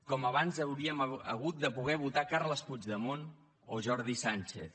com abans hauríem hagut de poder votar carles puigdemont o jordi sànchez